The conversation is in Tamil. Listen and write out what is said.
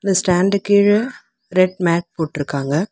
இந்த ஸ்டாண்டு கீழ ரெட் மேட் போட்ருக்காங்க.